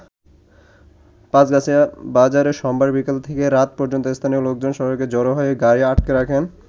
পাঁছগাছিয়া বাজারে সোমবার বিকেল থেকে রাত পর্যন্ত স্থানীয় লোকজন সড়কে জড়ো হয়ে গাড়ি আটকে রাখেন।